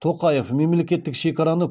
тоқаев мемлекеттік шекараны